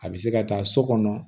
A bɛ se ka taa so kɔnɔ